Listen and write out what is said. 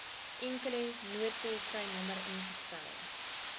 enkele noodtolvrynommer ingestel